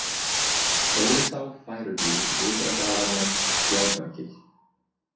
Þórisá, Færugil, Ytra-Grafarnes, Spjátargil